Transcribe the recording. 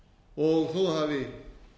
og þó að það hafi